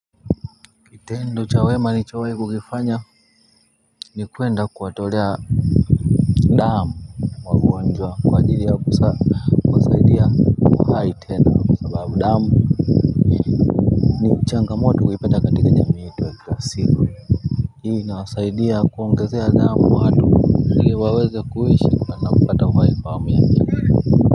Kitendo cha wema manichawai kukifanya ni kuenda kuwatolea damu mwagwonjwa kwa jiri ya kusa hali tena damu changamoto kukipata katika njami siku hii na wasaidia kuongezea damu hatu nili waweze kuwishi na napata kuhai kwa miami.